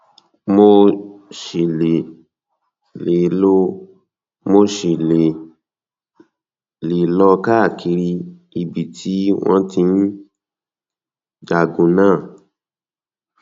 mo um ṣì lè um lè um lọ káàkiri ibi tí wọn ti ń jagun náà um